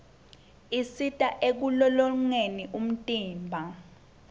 isisita ekulolongeni umtimba